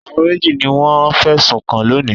Àwọn méjì ni wọ́n fẹ̀sùn kàn lónìí.